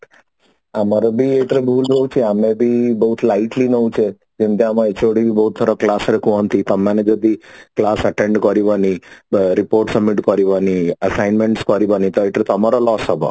ଆମର ବି ଏଇଟା ରେ ବହୁତ ରହୁଛି ଆମର ବି ବହୁତ light ନଉଛେ ଯେମତି ଆମ HOD ବହୁତ ଥର class ରେ କୁହନ୍ତି ତମେ ମାନେ ଯଦି class attend କରିବନି report submit କରିବନି assignments କରିବନି ତ ଏଥିରେ ତମର loss ହବ